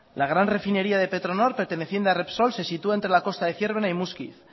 la gran refinería de petronor perteneciendo a repsol se sitúa entre la costa de zierbena y muskiz